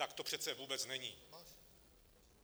Tak to přece vůbec není.